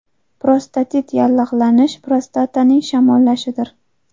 Prostatit yallig‘lanish, prostataning shamollashidir.